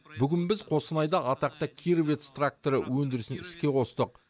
бүгін біз қостанайда атақты кировец тракторы өндірісін іске қостық